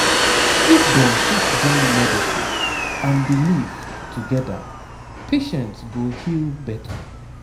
if dem fit join medicine and belief together patients go heal better